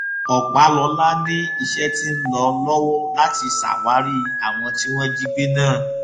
ọpàlọla ni iṣẹ tí ń lọ lọwọ láti ṣàwárí àwọn tí wọn jí gbé náà